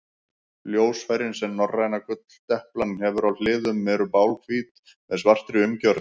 Ljósfærin sem norræna gulldeplan hefur á hliðum eru bláhvít með svartri umgjörð.